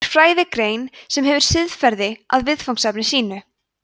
hún er fræðigrein sem hefur siðferði að viðfangsefni sínu